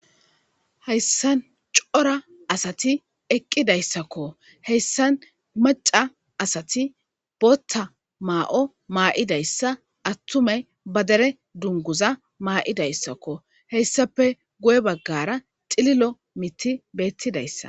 Hayissan cora asati eqqidayissakko .heyissann maca asati boththa ma'o mayidayissa atumayi baa dere duniguzza ma'idayissakko.heyissappe guye bagara cililo miththi betidayissa.